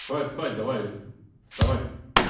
хватит спать давай это вставай